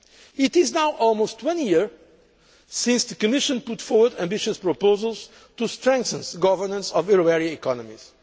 It is now almost one year since the Commission put forward ambitious proposals to strengthen governance of euro area economies.